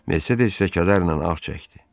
Mercedes də kədərlə ağ çəkdi.